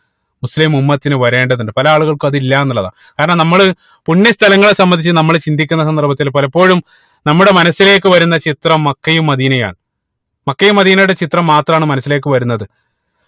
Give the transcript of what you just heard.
മുസ്ലിം ഉമ്മത്തിന് വരേണ്ടതുണ്ട് പല ആളുകൾക്കും അത് ഇല്ലാന്ന് ഉള്ളതാ കാരണം നമ്മള് പുണ്യ സ്ഥലങ്ങളെ സംബന്ധിച്ച് നമ്മള് ചിന്തിക്കുന്ന സന്ദർഭത്തിൽ പലപ്പോഴും നമ്മുടെ മനസിലേക്ക് വരുന്ന ചിത്രം മക്കയും മദീനയാണ് മക്കയും മദീനയുടെ ചിത്രം മാത്രം ആണ് മനസിലേക്ക് വരുന്നത്